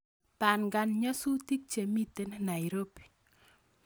Pangan nyasutik chemiten nairobi